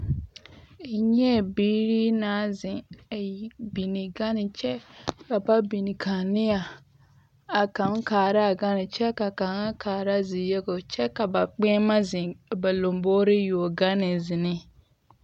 N nyɛɛ biiri naŋ zeŋ a yi biŋe gane kyɛ ka ba biŋ kaanea a kaŋ kaara a gane kyɛ ka a kaŋa kaara ziyobo kyɛ ka ba kpeɛmɛ zeŋ ba lambogreŋ yuo gane zeŋne.